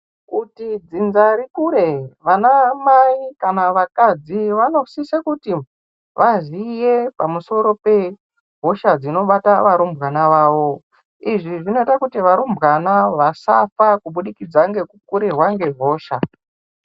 Kuti dzidza rikure vana mai kana vakadzi vanosisa kuti vazive pamusoro pehosha dzinobata vana vavo izvi zvinoita kuti varumbwana vasafa kubudikidza ngekukurirwa nehosha.